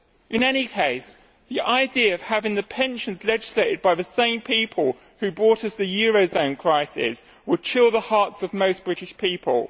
In any case, the idea of having their pensions legislated by the same people who brought us the eurozone crisis would chill the hearts of most British people.